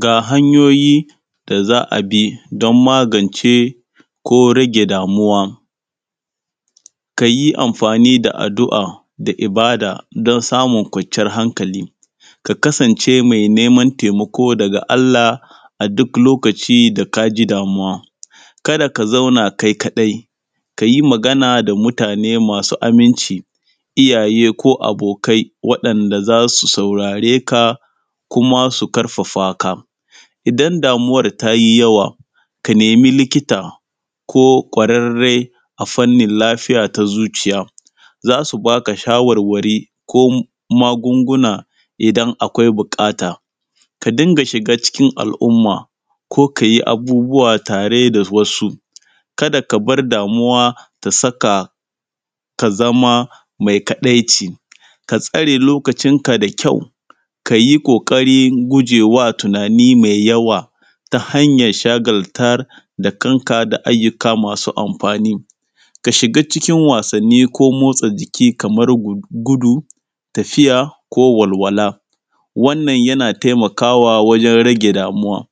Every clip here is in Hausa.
Ga hanyoyi da za a bi don magance ko rage damuwa, ka yi afmani da addu’a da ibada don samun kwanciyan hakali, ka ksance mai neman taimako daga Allah a duk lokaci da ka ji damuwa. Kada ka zauna kai kaɗai, ka yi magana da mutane masu aminci, iyaye ko abokai waɗanda za su saurare ka, kuma su ƙarfafa ka. Iadan damuwar ta yi yaw aka nemi likita, ko kwararre a fannin lafiya ta zuciya, za su ba ka shawarware ko magunguna idan akwai buƙata. Ka dinga shiga cikin al’umma ko ka yi abubuwa tare da wasu, kada ka bar damuwa ta saka ka za zama mai kaɗaici. Ka tsare lokacinka da kyau, ka yi ƙaƙarin gujewa tunani mai yawa, ta hanyar shagaltar da kanka da ayyuka masu amfani. Ka shiga cikin wasanni ko motsa jiki kamar gudu, tafiya ko walwala, wannan yana taimakawa wajen rage damuwa.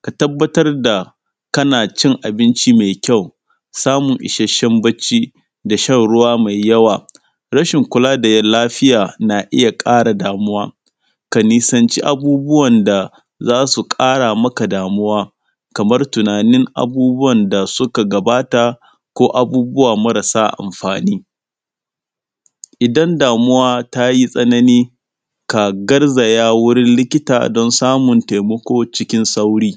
Ka tabbatar da kana cin abinci mai kyau, samun ishasshen bacci da shan ruwa mai yawa. Rashin kula da lafiya na iya ƙara damuwa. Ka nisanci abubuwan da za su ƙara maka damuwa, kamar tunanin abubuwan da suka gabata ko abubuwa marasa amfani. Idan damuwa tayi tsanani ka garzaya wurin likita don samun taimako cikin sauri.